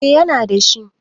eh yana da shi